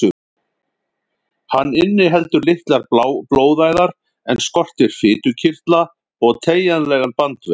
Hann inniheldur litlar blóðæðar en skortir fitukirtla og teygjanlegan bandvef.